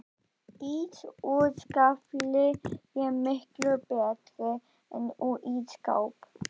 Ís úr skafli er miklu betri en úr ísskáp